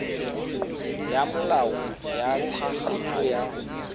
ya molao ya tshireletso ya